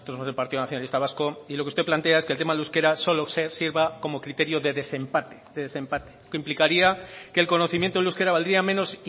está partido nacionalista vasco y lo que usted plantea solo se sirva como criterio de desempate lo que implicaría que el conocimiento del euskera valdría menos